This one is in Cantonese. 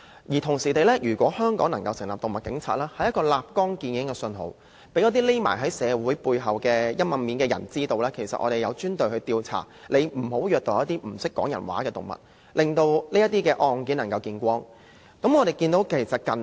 如果香港能夠成立動物警察，就能立竿見影，讓那些躲藏在社會背後陰暗面的人知道，有專隊進行調查，阻嚇他們，別虐待一些不懂得說話的動物，或令到這些案件能夠被發現。